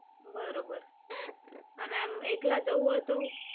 બરોબર, અને આમ એકલા જવું હોય તો?